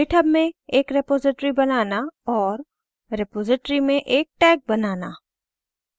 * github में एक repository बनाना और * रेपॉसिटरी में एक tag बनाना